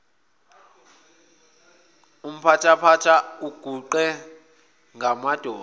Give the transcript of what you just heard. uphampatha uguqe ngamadolo